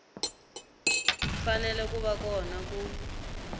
fanele ku va kona ku